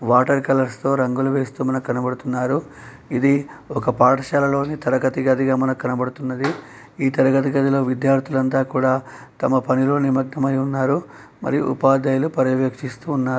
Water colours తో రంగులు వేస్తూ మనక్ కనబడుతున్నారు. ఇది ఒక పాఠశాలలోని తరగతి గదిగా మనకు కనబడుతున్నది. ఈ తరగతి గదిలో విద్యార్థులంతా కూడా తమ పనిలో నిమగ్నమై ఉన్నారు. మరియు ఉపాధ్యాయులు పర్యవేక్షిస్తూ ఉన్నారు.